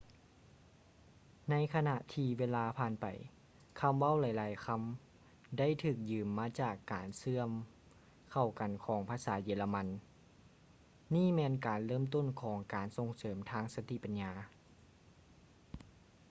ໃນຂະນະທີ່ເວລາຜ່ານໄປ ຄຳເວົ້າຫຼາຍໆຄຳ ໄດ້ຖືກຢືມມາຈາກການເຊື່ອມເຂົ້າກັນຂອງພາສາເຢຍລະມັນ ນີ້ແມ່ນການເລີ່ມຕົ້ນຂອງການສົ່ງເສີມທາງສະຕິປັນຍາ